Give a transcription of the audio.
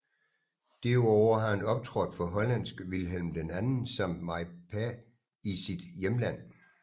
Derudover har han optrådt for hollandske Willem II samt MyPa i sit hjemland